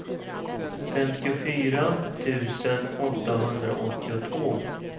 femtiofyra tusen åttahundraåttiotvå